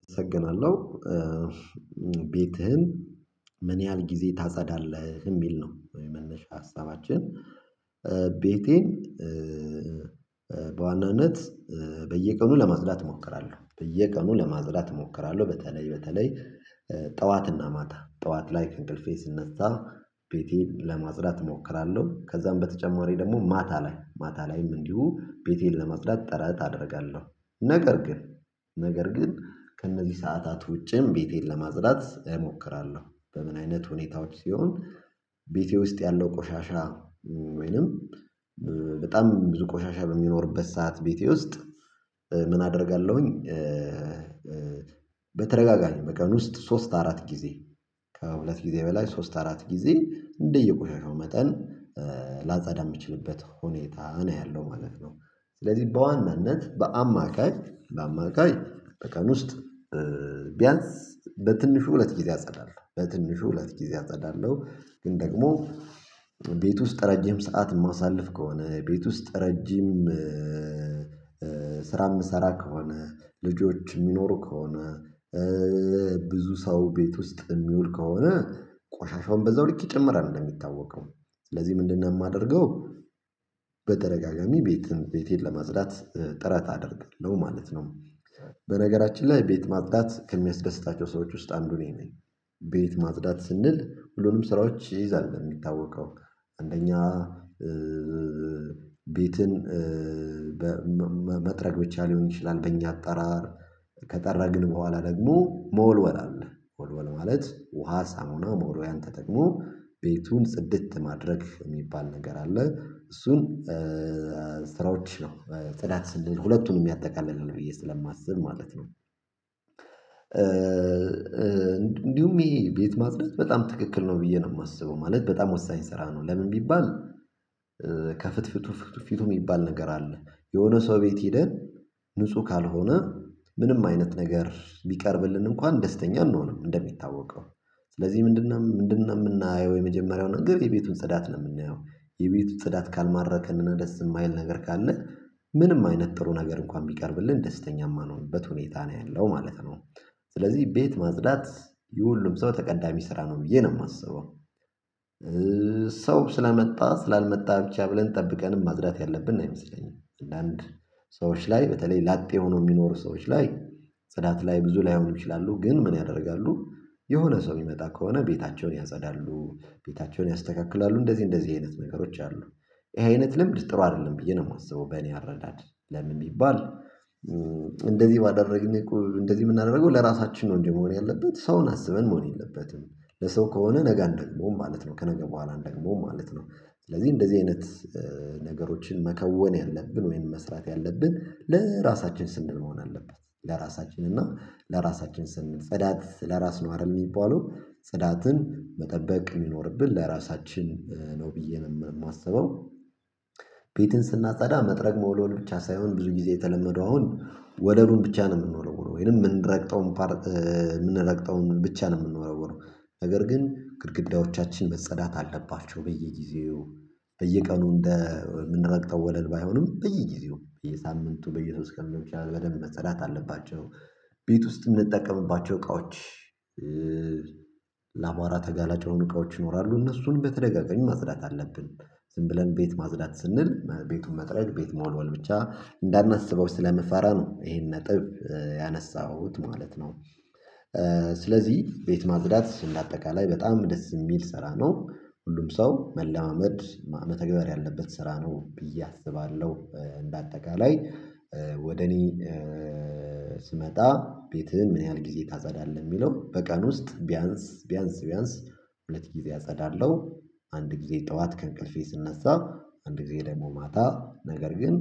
አመሰግናለሁ። ቤትህን ምን ያህል ጊዜ ታጸዳለህ የሚል ነው የመነሻ ሀሳባችን? ቤቴን በዋናነት በየቀኑ ለማጽዳት እሞክራለሁ በየቀኑ ለማጽዳት እሞክራለሁ በተለይ በተለይ ጠዋትና ማታ ጠዋት ላይ እንቅልፌ ስነሳ ቤቴን ለማጽዳት እሞክራለሁ። ከዛም በተጨማሪ ደግሞ ማታ ላይ ማታ ላይም እንዲሁ ቤቴን ለመጽዳት ጥረት አደርጋለሁ ነገር ግን ከእነዚህ ሰዓታት ውጪም ቤቴን ለማጽዳት እሞክራለሁ። በምን አይነት ሁኔታዎች ሲሆን ቤቴ ውስጥ ያለው ቆሻሻ ወይንም በጣም ብዙ ቆሻሻ በሚኖርበት ሰዓት ቤቴ ውስጥ ምን አደርጋለሁኝ? በተደጋጋሚ ቀን ውስጥ ሶስት አራት ጊዜ ከሁለት ጊዜ በላይ ሶስት አራት ጊዜ እንደየቆሻሻው መጠን ላጸዳ የምችልበት ሁኔታ እኔ ያለው ማለት ነው። ስለዚህ በዋናነት በአማካይ በአማካይ በቀን ውስጥ ቢያንስ በትንሹ ሁለት ጊዜ አጸዳለሁ በትንሹ ሁለት ጊዜ አጸዳለሁ። ግን ደግሞ ቤት ውስጥ ረጅም ሰዓት የማሳልፍ ከሆነ ቤት ውስጥ ረጅም ስራ የምሰራ ከሆነ ልጆች የሚኖሩ ከሆነ ብዙ ሰው ቤት ውስጥ የሚውል ከሆነ ቆሻሻውን በዛው ልክ ይጨምራል እንደሚታወቀው ስለዚህ ምንድነው የማደርገው? በተደጋጋሚ ቤትን ቤቴን ለማጽዳት ጥረት አደርጋለው ማለት ነው። በነገራችን ላይ ቤት ማጽዳት ከሚያስደስታቸው ሰዎች ውስጥ አንዱ ነኝ። ቤት ማጽዳት ስንል ሁሉንም ስራዎች ይይዛል በሚታወቀው አንደኛ ቤትን መጥረግ ብቻ ሊሆን ይችላል። በእኛ አጠራር ከጠረግን በኋላ ደግሞ መወልወል አለ መወልወል ማለት ውሃ ሳሙና መወልወልያ ተጠቅሞ ቤቱን ጽድት ማድረግ የሚባል ነገር አለ። እሱም ስራወችንም ጽዳት ስንል ሁለቱንም ያጠቃልልናል ብዬ ስለማስብ ማለት ነው። እንዲሁም ይሄ ቤት ማጽደት በጣም ትክክል ነው ብዬ ነው የማስበው ማለት በጣም ወሳኝ ስራ ነው። ለምን ቢባል ከፍትፍቱ ፊቱ የሚባል ነገር አለ። የሆነ ሰው ቤት ሄደን ንጹህ ካልሆነ ምንም አይነት ነገር ቢቀርብልን እንኳን ደስተኛ አንሆንም። እንደሚታወቀው ስለዚህ ምንድነው ምንድነው የምናየው የመጀመሪያውን ነገር የቤቱን ጽዳት ነው የምናየው? የቤቱን ጽዳት ካልማረከን እና ደስ የማይል ነገር ካለ ምንም አይነት ጥሩ ነገር እንኳን ቢቀርብልን ደስተኛ የማንሆንበት ሁኔታ ነው ያለው ማለት ነው። ስለዚህ ቤት ማጽዳት የሁሉም ሰው ተቀዳሚ ስራ ነው ብዬ ነው የማስበው። ሰው ስለመጣ ስላልመጣ ብቻ ብለን ጠብቀን ማጽዳት ያለብን አይመስለኝም። ለአንድ ሰዎች ላይ በተለይ ላጤ ሆኖ የሚኖሩ ሰዎች ላይ ጽዳት ላይ ብዙ ላይሆን ይችላሉ ግን ምን ያደርጋሉ? የሆነ ሰው የሚመጣ ከሆነ ቤታቸውን ያጸዳሉ ቤታቸውን ያስተካክላሉ እንደዚህ እንደዚህ አይነት ነገሮች አሉ። ይሄ አይነት ለምን ጥሩ አይደለም ብዬ ነው የማስበው። በእኔ አረዳድ ለምን የሚባል እንደዚህ ባደረግን እንደዚህ የምናደርገው ለራሳችን ነው እንጂ መሆን ያለበት ሰውን አስበን መሆን የለበትም። ለሰው ከሆነ ነገ አንደግመውም ማለት ነው ከነገ በኋላ አንደግመውም ማለት ነው። ስለዚህ እንደዚህ አይነት ነገሮችን መከወን ያለብን ወይም መስራት ያለብን ለራሳችን ስንል መሆን አለበት። ለራሳችን እና ለራሳችን ስንል ጽዳት ለራስ ነው አይደል የሚባለው ፅዳትን መጠበቅ የሚኖርብን ለራሳችን ነው ብዬ ነው የማስበው። ቤትን ስናጸዳ መጥረግ መወለወል ብቻ ሳይሆን ብዙ ጊዜ የተለመደው አሁን ወደሩን ብቻ ነው የምንወለውለው ወይም የምንረግጠው የምንረግጠውን ብቻ ነው የምንወረወረው። ነገር ግን ግድግዳዎቻችን መፀዳት አለባቸው በየጊዜው በየቀኑ እንደ ምንረግጠው ወለል ባይሆንም በየጊዜው በየሳምንቱ በየሶስት ቀኑ ሊሆን ይችላል በደንብ መፀዳት አለባቸው። ቤት ውስጥም የምንጠቀምባቸው እቃዎች ለአቧራ ተጋላጭ የሆኑ እቃዎች ይኖራሉ እነሱን በተደጋጋሚ ማጽዳት አለብን። ዝም ብለን ቤት ማጽዳት ስንል ቤቱን መጥረግ ቤት መወልወል ብቻ እንዳናስበው ስለምፈራ ነው ይሄን ነጥብ ያነሳሁት ማለት ነው። ስለዚህ ቤት ማጽዳት እንደ አጠቃላይ በጣም ደስ የሚል ስራ ነው ሁሉም ሰው መለማመድ መተግበር ያለበት ስራ ነው ብዬ አስባለሁ። በአጠቃላይ ወደ እኔ ስመጣ ቤትህ ምን ያህል ጊዜ ታጸዳለህ? የሚለው በቀን ውስጥ ቢያንስ ቢያንስ ቢያንስ ሁለት ጊዜ አጸዳለሁ። አንድ ጊዜ ጠዋት ከእንቅልፌ ስነሳ አንድ ጊዜ ደግሞ ማታ ነገር ግን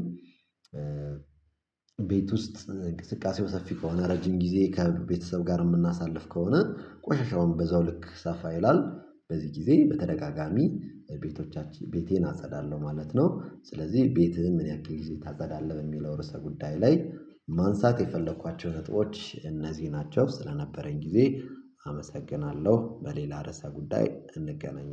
ቤት ውስጥ እንቅስቃሴው ሰፊ ከሆነ ረጅም ጊዜ ከቤተሰብ ጋር የምናሳልፍ ከሆነ ቆሻሻውን በዛው ልክ ሰፋ ይላል። በዚህ ጊዜ በተደጋጋሚ ቤቶቻችን ቤቴን አጸዳለሁ ማለት ነው። ስለዚህ ቤትህን ምን ያክል ጊዜ ታጸዳለህ በሚለው ርዕሰ ጉዳይ ላይ ማንሳት የፈለኳቸው ነጥቦች እነዚህ ናቸው። ስለነበረኝ ጊዜ አመሰግናለሁ። በሌላ ርዕሰ ጉዳይ እንገናኛለን